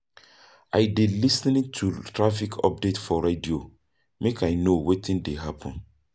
I dey lis ten to traffic update for radio, make I know wetin dey happen.